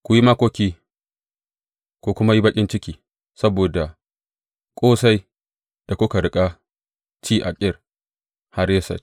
Ku yi makoki ku kuma yi baƙin ciki saboda ƙosai da kuka riƙa ci a Kir Hareset.